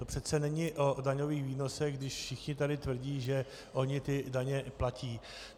To přece není o daňových výnosech, když všichni tady tvrdí, že oni ty daně platí.